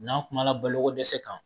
N'an kumana balokodɛsɛ kan